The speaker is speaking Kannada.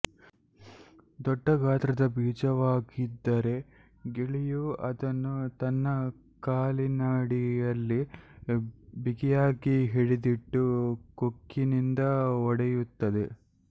ದೊಡ್ಡ ಗಾತ್ರದ ಬೀಜವಾಗಿದ್ದರೆ ಗಿಳಿಯು ಅದನ್ನು ತನ್ನ ಕಾಲಿನಡಿಯಲ್ಲಿ ಬಿಗಿಯಾಗಿ ಹಿಡಿದಿಟ್ಟು ಕೊಖ್ಖಿನಿಂದ ಒಡೆಯುತ್ತದೆ